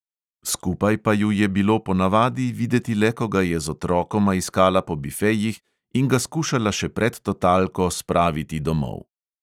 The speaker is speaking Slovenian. Skupaj pa ju je bilo ponavadi videti le, ko ga je z otrokoma iskala po bifejih in ga skušala še pred totalko spraviti domov.